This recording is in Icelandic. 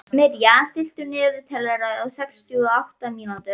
Mirja, stilltu niðurteljara á sextíu og átta mínútur.